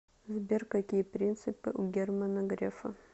сбер какие принципы у германа грефа